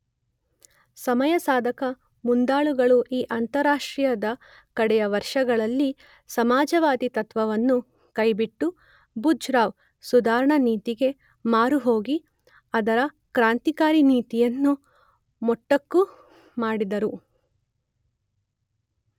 ಸಮಯಸಾಧಕ ಮುಂದಾಳುಗಳು ಈ ಅಂತಾರಾಷ್ಟ್ರೀಯದ ಕಡೆಯ ವರ್ಷಗಳಲ್ಲಿ ಸಮಾಜವಾದಿ ತತ್ತ್ವವನ್ನು ಕೈಬಿಟ್ಟು ಬೂಜರ್್ವ ಸುಧಾರಣಾ ನೀತಿಗೆ ಮಾರುಹೋಗಿ ಅದರ ಕ್ರಾಂತಿಕಾರಿ ನೀತಿಯನ್ನು ಮೊಟಕು ಮಾಡಿದರು.